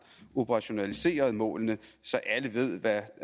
operationaliseret målene så alle ved hvad